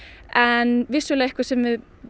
en vissulega eitthvað sem